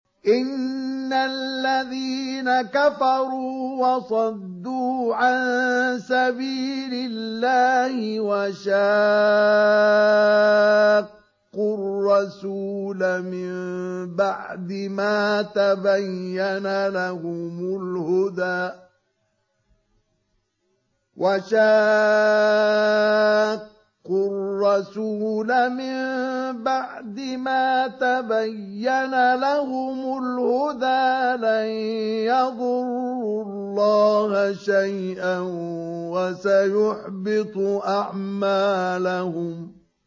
إِنَّ الَّذِينَ كَفَرُوا وَصَدُّوا عَن سَبِيلِ اللَّهِ وَشَاقُّوا الرَّسُولَ مِن بَعْدِ مَا تَبَيَّنَ لَهُمُ الْهُدَىٰ لَن يَضُرُّوا اللَّهَ شَيْئًا وَسَيُحْبِطُ أَعْمَالَهُمْ